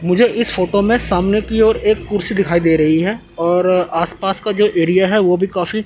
मुझे इस फोटो में सामने की ओर एक कुर्सी दिखाई दे रही है और आस पास का जो एरिया है वो भी काफी--